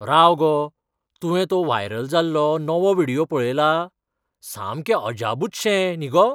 राव गो, तुवें तो व्हायरल जाल्लो नवो व्हिडियो पळयला? सामकें अजापूच शें न्ही गो.